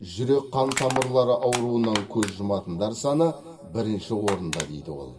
жүрек қан тамырлары ауруынан көз жұматындар саны бірінші орында дейді ол